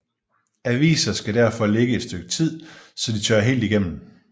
Aviser skal derfor ligge et stykke tid så de tører helt igennem